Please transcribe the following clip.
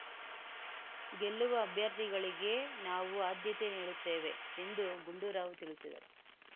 ಗೆಲ್ಲುವ ಅಭ್ಯರ್ಥಿಗಳಿಗೆ ನಾವು ಆದ್ಯತೆ ನೀಡುತ್ತೇವೆ ಎಂದು ಗುಂಡೂರಾವ್ ತಿಳಿಸಿದರು